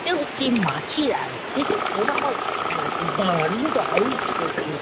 এটা হচ্ছে মাছের আড়ৎ। দেখুন পোনা মাছ দেখা যাচ্ছে। দারুন দারুন খেতে ।